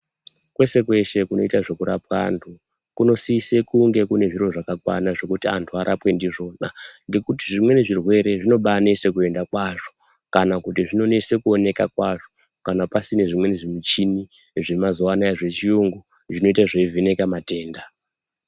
Kweshe kweshe kunoitwa zvekurapwa antu kunosise kunge kune zviro zvakakwana zvokuti antu arapwe ndizvona ngekuti zvimweni zvirwere zvinobaanesa kuenda kwazvo kana kana kuti zvinonese kuonekwa kwazvo kana pasina zvimweni zvimichini zvemazuva anaya zvechiyungu zvinoita zveivheneka matenda.